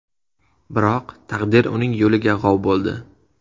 Biroq taqdir uning yo‘liga g‘ov bo‘ldi.